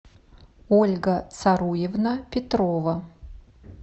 ольга царуевна петрова